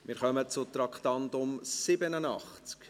Wir kommen zum Traktandum 87: